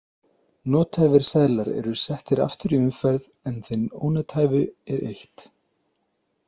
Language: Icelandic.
Nothæfir seðlar eru settir aftur í umferð en þeim ónothæfu er eytt.